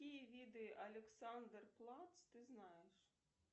какие виды александр плац ты знаешь